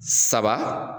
Saba